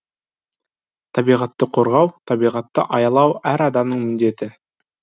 табиғатты қорғау табиғатты аялау әр адамның міндеті